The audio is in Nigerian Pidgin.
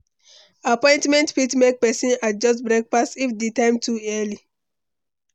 Appointment fit make pesin adjust breakfast if di time too early.